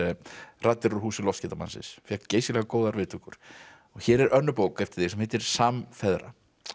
raddir úr húsi fékk geysilega góðar viðtökur hér er önnur bók eftir þig sem heitir samfeðra